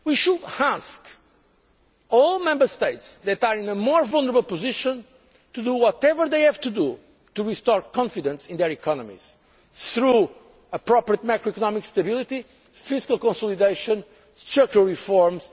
do it? We should ask all Member States that are in a more vulnerable position to do whatever they have to do to restore confidence in their economies through appropriate macro economic stability, fiscal consolidation, structural reforms